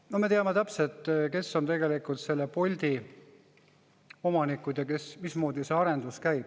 No me teame täpselt, kes on tegelikult Bolti omanikud ja mismoodi see arendus käib.